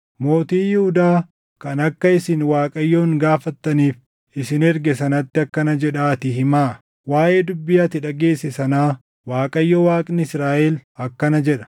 Mootii Yihuudaa kan akka isin Waaqayyoon gaafattaniif isin erge sanatti akkana jedhaatii himaa; ‘Waaʼee dubbii ati dhageesse sanaa, Waaqayyo Waaqni Israaʼel akkana jedha;